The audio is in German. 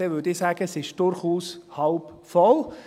Dann würde ich sagen: Es ist durchaus halb voll.